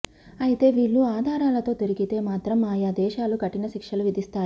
అయితే వీళ్ళు ఆధారాలతో దొరికితే మాత్రం ఆయా దేశాలు కఠిన శిక్షలు విధిస్తాయి